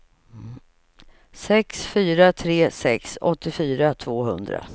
sex fyra tre sex åttiofyra tvåhundra